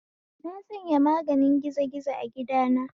Na sanya maganin gizi gizo a gidana